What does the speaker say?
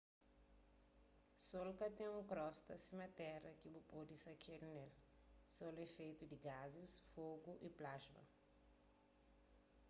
sol ka ten un krosta sima téra ki bu pode sakedu ne-l sol é fetu di gazis fogu y plasma